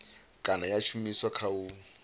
kana ya shumiswa kha u